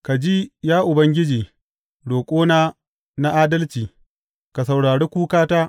Ka ji, ya Ubangiji, roƙona na adalci; ka saurari kukata.